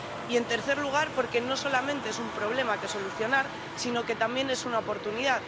y, en tercer lugar, porque no solamente es un problema que solucionar, sino que también es una oportunidad.